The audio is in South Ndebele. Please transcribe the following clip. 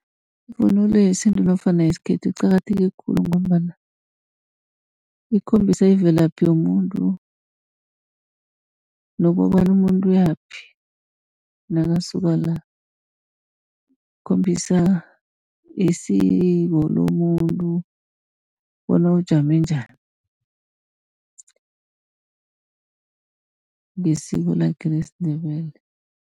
Ivunulo yesintu nofana yesikhethu iqakatheke khulu, ngombana ikhombisa imvelaphi yomuntu nokobana umuntu uyaphi nakasuka la. Ikhombisa isiko lomuntu bona ujame njani, ngesiko lakhe lesiNdebele.